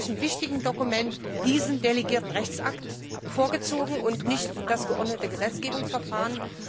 bei einem solch wichtigen Dokument diesen delegierten Rechtsakt vorgezogen und nicht das geordnete Gesetzgebungsverfahren?